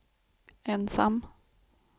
ensam